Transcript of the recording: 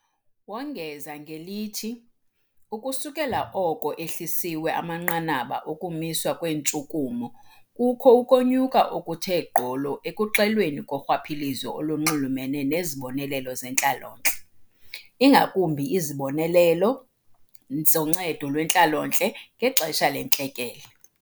Wongeza ngelithi ukusukela oko ehlisiwe amanqanaba okumiswa kweentshukumo, kukho ukonyuka okuthe gqolo ekuxelweni korhwaphilizo olunxulumene nezibonelelo zentlalontle, ingakumbi izibonelelo zoNcedo lweNtlalontle ngexesha leNtlekele.